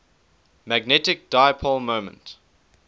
magnetic dipole moment